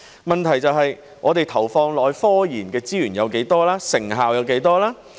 問題在於我們投放到科研的資源有多少、成效有多少。